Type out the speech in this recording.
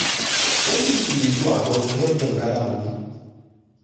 plenty people dey do ajo to help dem gather money